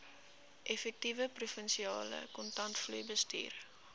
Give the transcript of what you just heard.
effektiewe provinsiale kontantvloeibestuur